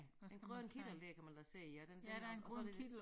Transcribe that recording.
En grøn kittel dér kan man da se ja den den er også og så det